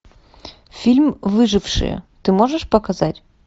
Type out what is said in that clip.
фильм выжившие ты можешь показать